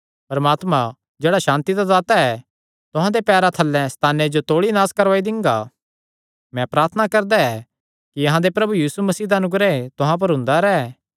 परमात्मा जेह्ड़ा सांति दा दाता ऐ तुहां दे पैरां थल्लैं सैताने जो तौल़ी नास करवाई दिंगा मैं प्रार्थना करदा ऐ कि अहां दे प्रभु यीशु मसीह दा अनुग्रह तुहां पर हुंदा रैंह्